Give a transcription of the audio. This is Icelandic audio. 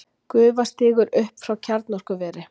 Gufa stígur upp frá kjarnorkuveri.